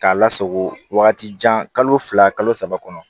K'a lasago wagati jan kalo fila kalo saba kɔnɔ